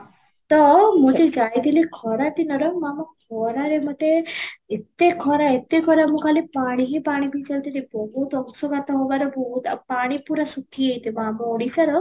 ତ ମୁଁ ଯଉ ଯାଇଥିଲି ଖରା ଦିନର ମୋ ଆମ ଖରରେ ମୋତେ ଏତେ ଖରା ଏତେ ଖରା ମୁଁ ଖାଲି ପାଣି ହିଁ ପାଣି ପିଇ ଚାଲିଛି ଯେ ବହୁତ ଅଶୁଘାତ ହବାର ବହୁତ ଆଉ ପାଣି ପୁର ଶୁଖି ଯାଇଥିବ ଆମ ଓଡ଼ିଶାର